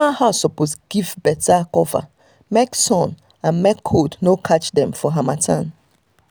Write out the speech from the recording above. animal house suppose give better cover make sun and make cold no catch dem for harmattan.